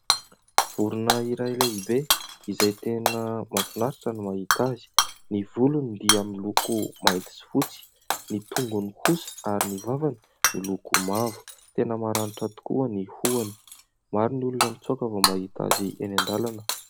Vorona iray lehibe izay tena mahafinaritra ny mahita azy. Ny volony dia miloko mainty sy fotsy, ny tongony kosa ary ny rambony miloko mavo. Tena maranitra tokoa ny hohony. Maro ny olona mitsoaka vao mahita azy eny an-dalana.